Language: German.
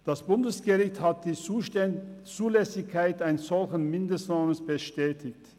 Das Bundesgericht hat die Zulässigkeit eines solchen Mindestlohns bestätigt.